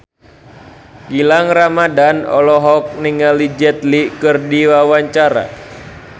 Gilang Ramadan olohok ningali Jet Li keur diwawancara